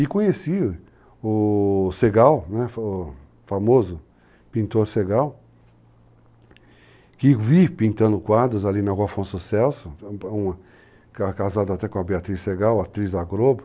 E conheci o Segal, o famoso pintor Segal, que vi pintando quadros ali na Afonso Celso, casado até com a Beatriz Segal, atriz da Globo.